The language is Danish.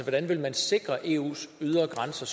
sikre eus ydre grænser